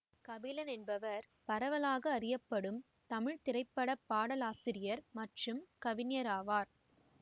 கபிலன் என்பவர் பரவலாக அறியப்படும் தமிழ்த்திரைப்பட பாடலாசிரியர் மற்றும் கவிஞராவார்